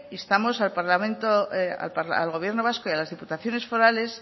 instamos al gobierno vasco y a las diputaciones forales